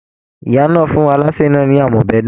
Ìyá náà fún alase náà ni àmọ́bẹ̀dùn.